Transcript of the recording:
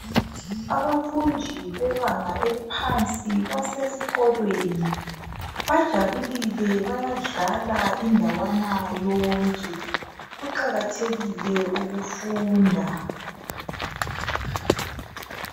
abafundi bebanga eliphansi basesikolweni bajabulile bayadlala indawana yonke kuqhakathekile ukufunda